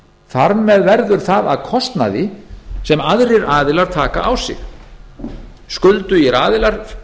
þar með verður það að kostnaði sem aðrir aðilar taka á sig skuldugir aðilar